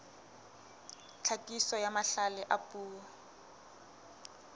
tlhakiso ya mahlale a puo